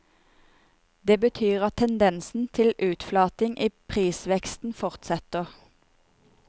Dette betyr at tendensen til utflating i prisveksten fortsetter.